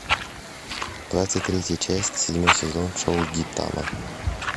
двадцать третья часть седьмой сезон шоу гинтама